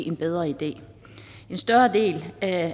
en bedre idé en større del af